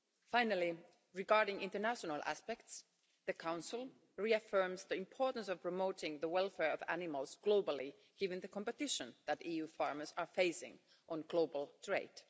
Finally, regarding international aspects, the Council reaffirms the importance of promoting the welfare of animals globally, given the competition that EU farmers are facing in global trade.